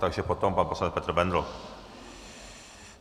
Takže potom pan poslanec Petr Bendl.